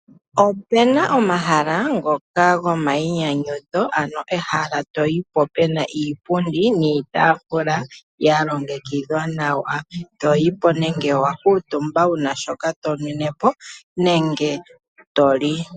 Ope na omahala ngoka gomainyanyudho, ano ehala to yi po pe na iipundi, niitaafula ya longekidhwa nawa. Toyi po nenge owa kuutumba wu na shoka tonwine po nenge to li.